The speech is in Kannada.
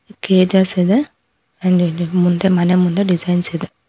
ಕೇಜಸ್ ಇದೆ ಮುಂದೆ ಮನೆ ಮುಂದೆ ಡಿಸೈನ್ಸ್ ಇದೆ.